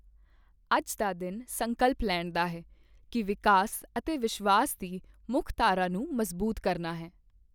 ਅੱਜ ਦਾ ਦਿਨ ਸੰਕਲਪ ਲੈਣ ਦਾ ਹੈ ਕੀ ਵਿਕਾਸ ਅਤੇ ਵਿਸ਼ਵਾਸ ਦੀ ਮੁੱਖਧਾਰਾ ਨੂੰ ਮਜ਼ਬੂਤ ਕਰਨਾ ਹੈ।